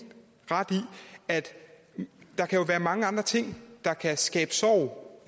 ret i at der kan være mange andre ting der kan skabe sorg